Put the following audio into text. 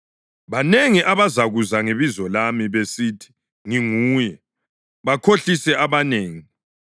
Banengi abazakuza ngebizo lami, besithi, ‘Nginguye,’ bakhohlise abanengi.